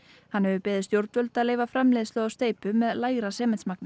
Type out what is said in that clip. hann hefur beðið stjórnvöld að leyfa framleiðslu á steypu með lægra